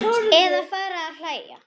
Eða fara að hlæja.